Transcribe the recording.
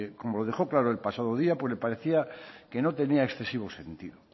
como lo dejó claro el pasado día le parecía que no tenía excesivo sentido